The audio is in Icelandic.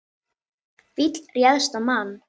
Fíll ræðst á mann